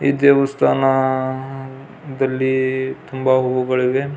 ಈ ದೇವಸ್ಥಾನ ಅಹ್ ದಲ್ಲಿ ತುಂಬಾ ಹೂವು ಗಳಿದೆ.